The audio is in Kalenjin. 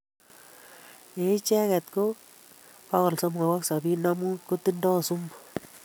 En icheget, ko 375 kotindoo sumu